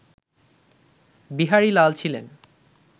বিহারীলাল ছিলেন